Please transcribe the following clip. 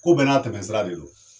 Ko bɛɛ n'a tɛmɛsira de don.